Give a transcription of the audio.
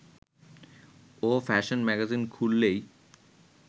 ও fashion magazine খুললেই